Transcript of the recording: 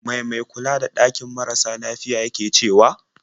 Mai mai kula da ɗakin marasa lafiyar yake cewa?